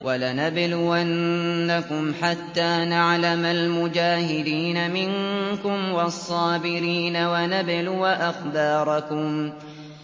وَلَنَبْلُوَنَّكُمْ حَتَّىٰ نَعْلَمَ الْمُجَاهِدِينَ مِنكُمْ وَالصَّابِرِينَ وَنَبْلُوَ أَخْبَارَكُمْ